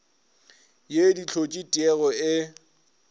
ye di hlotše tiego e